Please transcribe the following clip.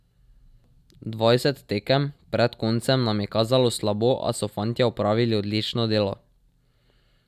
Dvajset tekem pred koncem nam je kazalo slabo, a so fantje opravili odlično delo.